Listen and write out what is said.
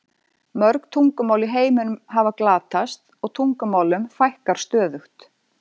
Mörg tungumál í heiminum hafa glatast og tungumálum fækkar stöðugt.